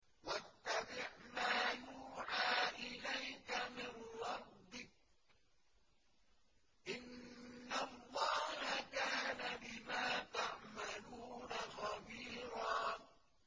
وَاتَّبِعْ مَا يُوحَىٰ إِلَيْكَ مِن رَّبِّكَ ۚ إِنَّ اللَّهَ كَانَ بِمَا تَعْمَلُونَ خَبِيرًا